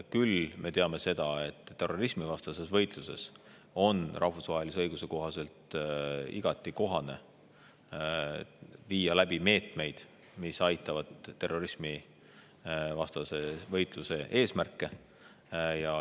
Küll me teame seda, et terrorismivastases võitluses on rahvusvahelise õiguse kohaselt igati kohane viia läbi meetmeid, mis aitavad terrorismivastasele võitlusele kaasa.